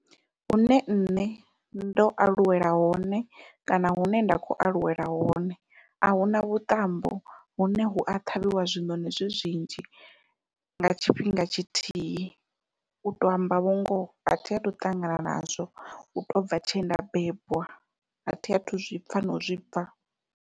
Hune nṋe ndo aluwela hone kana hune nda kho aluwela hone ahuna vhuṱambo hune hu a ṱhavhiwa zwiṋoṋi zwi zwinzhi nga tshifhinga tshithihi uto amba vho ngoho athi athu ṱangana nazwo uto bva tshenda bebwa athi athu zwipfha nau zwipfha.